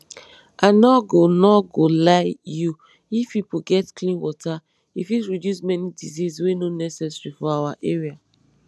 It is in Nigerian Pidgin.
i nor go nor go lie you if pipo get clean water e fit reduce many disease wey nor necessary for our area